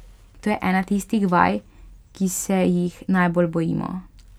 To je ena tistih vaj, ki se jih najbolj bojimo.